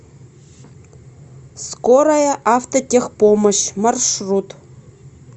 скорая автотехпомощь маршрут